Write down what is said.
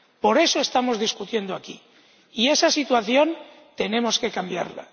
Por eso estamos debatiendo aquí, y esa situación tenemos que cambiarla.